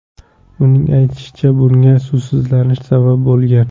Uning aytishicha, bunga suvsizlanish sabab bo‘lgan.